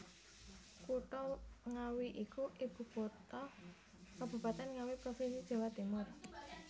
Kutha Ngawi iku ibukutha Kabupaten Ngawi provinsi Jawa Timur